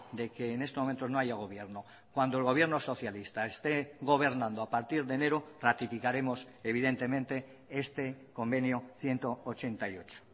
de que en este momento no haya gobierno cuando el gobierno socialista esté gobernando a partir de enero ratificaremos evidentemente este convenio ciento ochenta y ocho